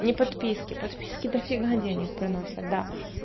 не подписки подписки дофига денег приносят да